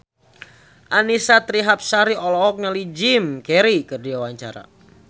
Annisa Trihapsari olohok ningali Jim Carey keur diwawancara